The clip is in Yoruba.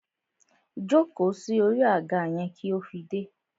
Jóko sí orí àga yẹn kí ó fi dé!